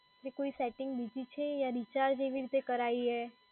જો કોઈ સેટિંગ છે બીજી છે યા રિચાર્જ એવી રીતે કરાઈએ.